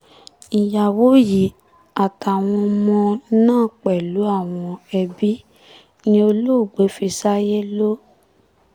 ìyàwó yìí àtàwọn ọmọ náà pẹ̀lú àwọn ẹbí ni olóògbé fi ṣàyé lò